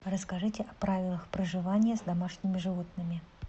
расскажите о правилах проживания с домашними животными